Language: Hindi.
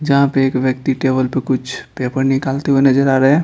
जहां पे एक व्यक्ति टेबल पर कुछ पेपर निकालते हुए नजर आ रहा है।